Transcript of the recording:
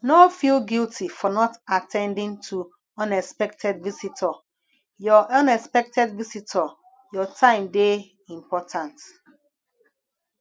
no feel guilty for not at ten ding to unexpected visitor your unexpected visitor your time dey important